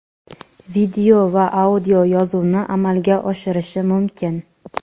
video va audio yozuvni amalga oshirishi mumkin.